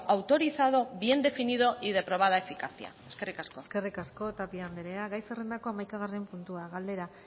autorizado bien definido y de probada eficacia eskerrik asko eskerrik asko tapia andrea gai zerrendako hamaikagarren puntua galdera